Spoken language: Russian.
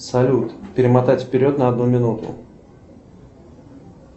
салют перемотать вперед на одну минуту